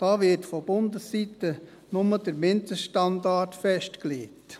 Da wird von Bundesseite nur der Mindeststandard festgelegt.